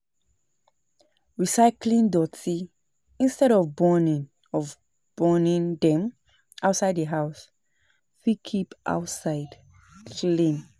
Recycling doti instead of burning of burning dem outside the house fit keep outside clean